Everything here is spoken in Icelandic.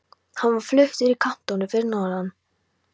Hann var fluttur í kantónu fyrir norðan.